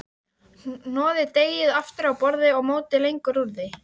Hnoðið deigið aftur á borði og mótið lengjur úr því.